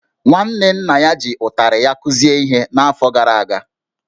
Nwanne nna ya ji ụtarị ya kụzie ihe n’afọ gara aga